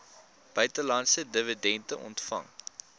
buitelandse dividende ontvang